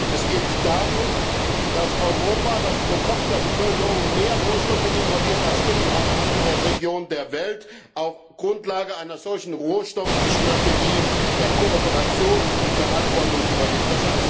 Es geht darum, dass Europa, das pro Kopf der Bevölkerung mehr Rohstoffe importiert als irgendeine andere Region der Welt, auf der Grundlage einer solchen auf Kooperation beruhenden Rohstoffstrategie Verantwortung übernimmt.